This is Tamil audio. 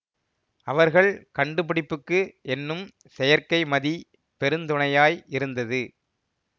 அவர்கள் கண்டுபிடிப்புக்கு என்னும் செயற்கைமதி பெருந்துணையாய் இருந்தது